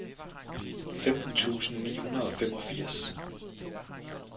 femten tusind ni hundrede og femogfirs